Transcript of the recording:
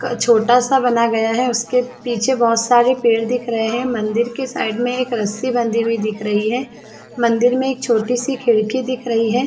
घर छोटा सा बना गया है उसके पीछे बहुत सारे पेड़ दिख रहें हैं मंदिर के साइड में एक रस्सी बंधी हुई दिख रही है मंदिर में एक छोटी सी खिड़की दिख रही है।